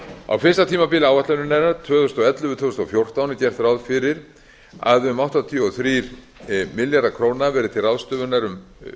á fyrsta tímabili áætlunarinnar tvö þúsund og ellefu til tvö þúsund og fjórtán er gert ráð fyrir að um áttatíu og þrír milljarðar króna verði til ráðstöfunar um